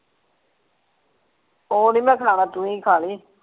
ਉਹ ਨਹੀਂ ਮੈਂ ਖਾਣਾ ਤੂੰ ਹੀ ਖਾ ਲਈ।